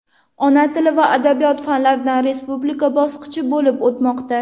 ona tili va adabiyoti fanlaridan respublika bosqichi bo‘lib o‘tmoqda.